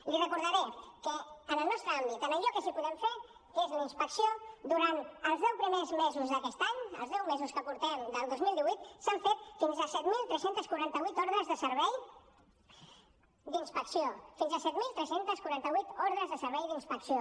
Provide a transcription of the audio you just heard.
li recordaré que en el nostre àmbit en allò que sí que podem fer que és una inspecció durant els deu primers mesos d’aquest any els deu mesos que portem del dos mil divuit s’han fet fins a set mil tres cents i quaranta vuit ordres de servei d’inspecció fins a set mil tres cents i quaranta vuit ordres de servei d’inspecció